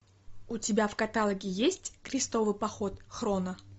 у тебя в каталоге есть крестовый поход хроно